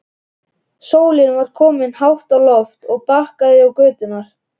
Sólin var komin hátt á loft og bakaði göturnar.